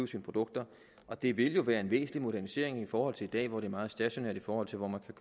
sine produkter og det vil jo være en væsentlig modernisering i forhold til i dag hvor det er meget stationært i forhold til hvor man kan